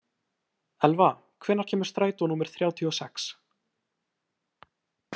Elva, hvenær kemur strætó númer þrjátíu og sex?